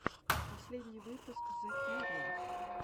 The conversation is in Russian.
последний выпуск зе кьюриос